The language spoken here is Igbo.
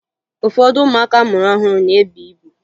Ụfọdụ ụmụaka a mụrụ ọhụrụ na-ebu ibu